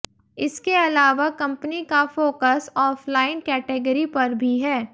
इसके अलावा कंपनी का फोकस ऑफलाइन कैटेगरी पर भी है